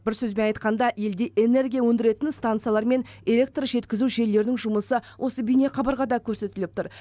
бір сөзбен айтқанда елде энергия өндіретін станциялар мен электр жеткізу желілерінің жұмысы осы бейнеқабырғада көрсетіліп тұр